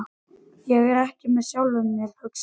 Ég er ekki með sjálfum mér, hugsaði hann.